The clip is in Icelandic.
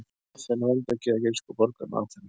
Aþena er verndargyðja grísku borgarinnar Aþenu.